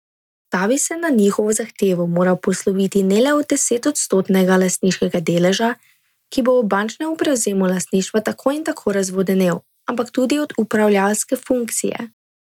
Ta bi se na njihovo zahtevo moral posloviti ne le od desetodstotnega lastniškega deleža, ki bo ob bančnem prevzemu lastništva tako in tako razvodenel, ampak tudi od upravljalske funkcije.